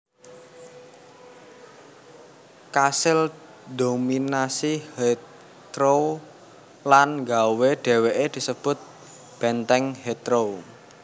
kasil ndominasi Heathrow lan nggawé déwéké disebut Benteng Heathrow